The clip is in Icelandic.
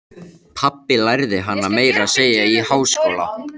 Pabbi lærði hana meira að segja í háskóla.